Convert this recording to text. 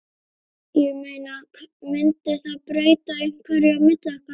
Ég meina. mundi það breyta einhverju á milli okkar.